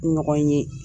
Ɲɔgɔn ye